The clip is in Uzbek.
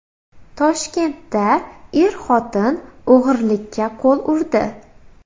Toshkentda er-xotin o‘g‘irlikka qo‘l urdi.